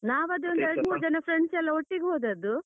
ನಾವು ಅದ್ರಲ್ಲಿ ಎರಡು ಮೂರು ಜನ friends ಎಲ್ಲ ಒಟ್ಟಿಗೆ ಹೋದದ್ದು.